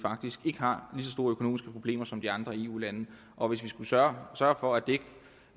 ikke har lige så store økonomiske problemer som de andre eu lande og hvis vi skulle sørge for at vi